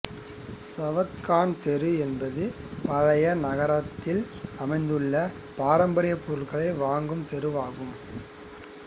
சவாத் கான் தெரு என்பது பழைய நகரத்தில் அமைந்துள்ள பாரம்பரிய பொருட்கள் வாங்கும் தெருவாகும்